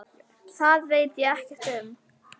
Það veit ég ekkert um.